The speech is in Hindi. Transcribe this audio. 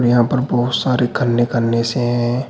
यहां पर बहुत सारे खन्ने खन्ने से हैं।